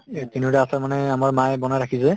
এই তিনিওটা আচাৰ মানে আমাৰ মায়ে বনাই ৰাখিছে।